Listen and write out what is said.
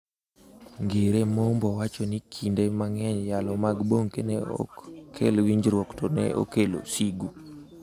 Ngire Mombo wacho ni kinde mang'eny yalo mag Bonnke ne ok kel winjruok, to ne okelo sigu.